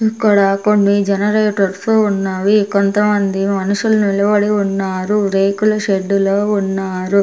ఇక్కడ కొన్ని జనరేటర్సు ఉన్నవి కొంతమంది మనుషుల్ నిలబడి ఉన్నారు రేకుల షెడ్డులో ఉన్నారు.